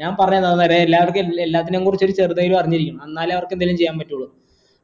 ഞാൻ പറഞ്ഞത് എന്താന്നറിയോ എല്ലാർക്കും എല്ലാത്തിനെയും കുറിച്ച് ചെറുതായിട്ട് അറിഞ്ഞിരിക്കണം എന്നാലേ അവർക്ക് എന്തെങ്കിലും ചെയ്യാൻ പറ്റുള്ളൂ